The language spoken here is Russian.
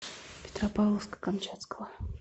петропавловска камчатского